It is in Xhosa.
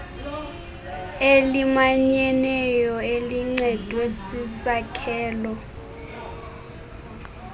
elimanyeneyo elincedwe sisakhelo